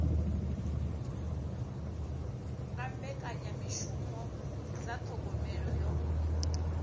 nga mbekanyamishumo dza thogomelo yo